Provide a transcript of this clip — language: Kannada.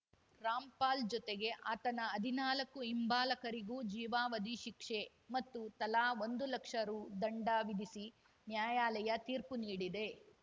ರಾಮ್‌ಪಾಲ್‌ ಜೊತೆಗೆ ಆತನ ಹದಿನಾಲಕ್ಕೂ ಹಿಂಬಾಲಕರಿಗೂ ಜೀವಾವಧಿ ಶಿಕ್ಷೆ ಮತ್ತು ತಲಾ ಒಂದು ಲಕ್ಷ ರು ದಂಡ ವಿಧಿಸಿ ನ್ಯಾಯಾಲಯ ತೀರ್ಪು ನೀಡಿದೆ